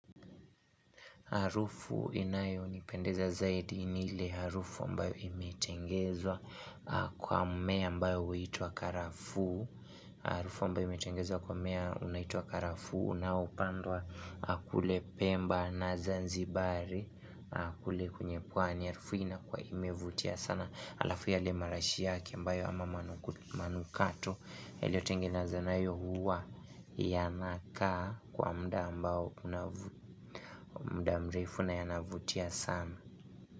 Harufu inayonipendeza zaidi ni ile harufu ambao imetengezwa kwa mmea ambao huitwa karafuu. Harufu ambao imetengezwa kwa mmea unaitwa karafuu unaopandwa kule pemba na zanzibari. Kule kwenye pwani harufu inakua imevutia sana alafu yale marashi yake ambao ama manukato. Iliotengenezwa na hiyo huwa yanakaa kwa muda ambao muda mrefu na yanavutia sana.